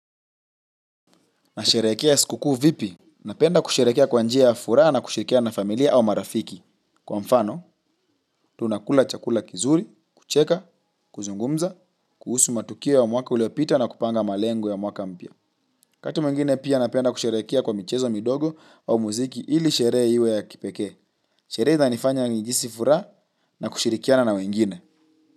Nasherehekea sikukuu vipi? Napenda kusherehekea kwa njia ya furaha na kusherehekea na familia au marafiki. Kwa mfano, tunakula chakula kizuri, kucheka, kuzungumza, kuhusu matukio ya mwaka uliopita na kupanga malengo ya mwaka mpya. Wakati mwingine pia napenda kusherehekea kwa michezo midogo au muziki ili sherehe iwe ya kipekee. Sherehe zinanifanya nijihisi furaha na kushirikiana na wengine.